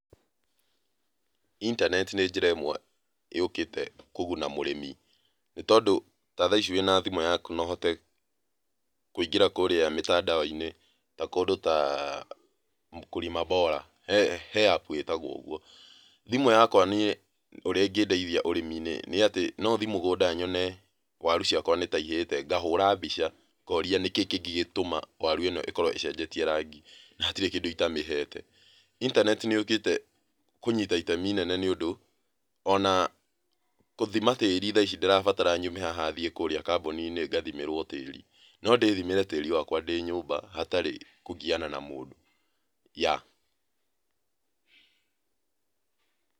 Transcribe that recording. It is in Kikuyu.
Internet nĩ njĩra ĩmwe yũkĩte, kũguna mũrĩmi. Nĩ tondũ ta thaici wĩ na thimũ yaku no ũhote kũingĩra kũrĩa mĩtandao-inĩ ta kũndũ ta Mkulima Bora, he app ĩtagwio ũgũo. Thĩmũ yakwa niĩ ũrĩa ĩngĩndeithia ũrĩmĩnĩ nĩ atĩ no thiĩ mũgũnda nyone waru ciakwa nĩ ta cihĩte, no hũre mbica noria nĩkĩĩ kĩngĩgĩtũma warũ ino ĩkorwo ĩcenjetie rangi na hatirĩ kĩndũ itamĩhete. Internet nĩ yũkĩte kũnyita itemi inene nĩ ũndũ, ona gũthĩma tĩrĩ ndĩtirabatara nyume haha thiĩ kambũni-inĩ nagathimĩrwo tirĩ, no ndĩthimĩre tĩrĩ wakwa ndĩ nyũmba hatarĩ kũgiana na mũndũ, yeah.